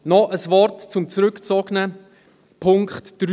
Noch ein Wort zum zurückgezogenen Punkt 3: